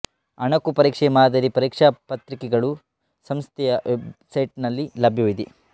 ಅಣಕು ಪರೀಕ್ಷೆ ಮಾದರಿ ಪರೀಕ್ಷಾ ಪತ್ರಿಕೆಗಳನ್ನು ಸಂಸ್ಥೆಯ ವೆಬ್ಸೈಟ್ನಲ್ಲಿ ಲಭ್ಯವಿದೆ